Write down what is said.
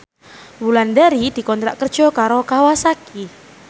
Wulandari dikontrak kerja karo Kawasaki